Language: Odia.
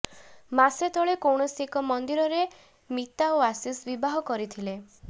ମାସେ ତଳେ କୌଣସି ଏକ ମନ୍ଦିରରେ ମିତା ଓ ଆଶିଷ ବିବାହ କରିଥିଲେ